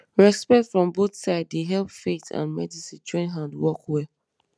respect from both side dey help faith and medicine join hand work well